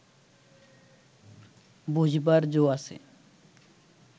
বোঝবার জো আছে